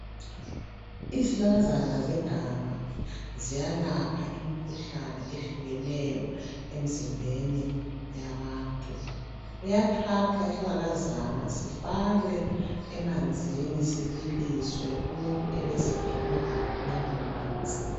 Izihlahlakazana zeganga ziyalapha imikhuhlane ehlukeneyo emzimbeni yabantu. Kuyathathwa isihlahlakazana sifakwe emanzini sibiliswe umuntu ebesephiwa lawomanzi.